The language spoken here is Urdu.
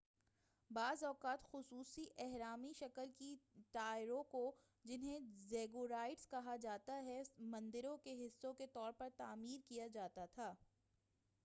بعض اوقات خصوصی اہرامی شکل کے ٹاوروں کو جنہیں زیگوراٹس کہا جاتا ہے مندروں کے حصے کے طور پر تعمیر کیا جاتا تھا